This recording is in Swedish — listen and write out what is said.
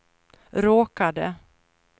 råkade